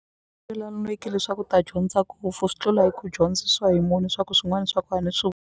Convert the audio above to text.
leswaku u ta dyondza swi tlula hi ku dyondzisiwa hi munhu swa ku swin'wani swa .